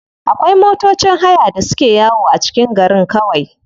Akwai matocin haya da suke yawo a cikin garin kawai.